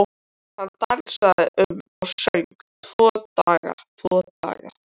Hann dansaði um og söng: Tvo daga, tvo daga